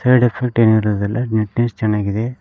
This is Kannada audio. ಎರಡ್ ಎಫೆಕ್ಟ್ ಏನು ಇರೋದಿಲ್ಲ ನಿಟ್ ನೆಸ್ ಚೆನ್ನಾಗಿದೆ.